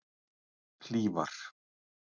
Hlífar